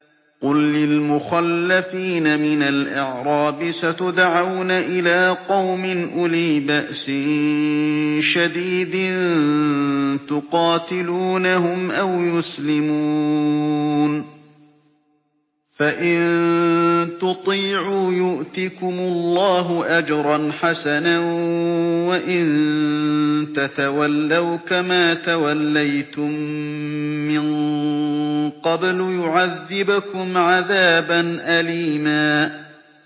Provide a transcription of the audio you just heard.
قُل لِّلْمُخَلَّفِينَ مِنَ الْأَعْرَابِ سَتُدْعَوْنَ إِلَىٰ قَوْمٍ أُولِي بَأْسٍ شَدِيدٍ تُقَاتِلُونَهُمْ أَوْ يُسْلِمُونَ ۖ فَإِن تُطِيعُوا يُؤْتِكُمُ اللَّهُ أَجْرًا حَسَنًا ۖ وَإِن تَتَوَلَّوْا كَمَا تَوَلَّيْتُم مِّن قَبْلُ يُعَذِّبْكُمْ عَذَابًا أَلِيمًا